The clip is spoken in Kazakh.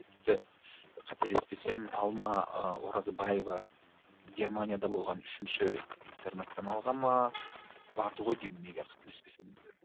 тіпті қателеспесем алма ы оразбаева германияда болған үшінші интернационалға ма барды ғой деймін егер қателеспесем